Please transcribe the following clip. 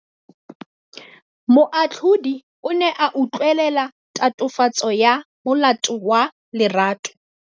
Moatlhodi o ne a utlwelela tatofatsô ya molato wa Lerato.